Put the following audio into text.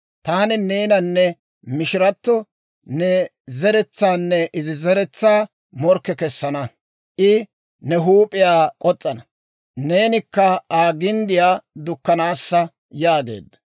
Taani neenanne mishirato, ne zeretsaanne izi zeretsaa morkke kessana; I ne huup'iyaa k'os's'ana; neenikka Aa ginddiyaa dukkanaassa» yaageedda.